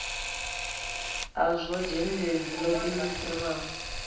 hazwo zhendedzhi lo diimiselaho u